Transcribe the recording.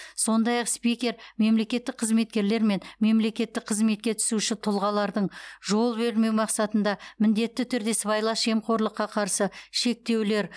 сондай ақ спикер мемлекеттік қызметкерлер мен мемлекеттік қызметке түсуші тұлғалардың жол бермеу мақсатында міндетті түрде сыбайлас жемқорлыққа қарсы шектеулер